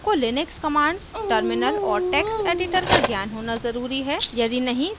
आपको Linux commands terminal और text editor का ज्ञान होना ज़रूरी है